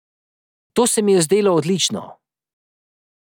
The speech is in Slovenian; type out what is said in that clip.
To se mi je zdelo odlično.